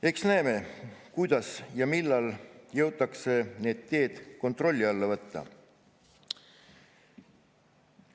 Eks näeme, kuidas ja millal jõutakse need teed kontrolli alla võtta.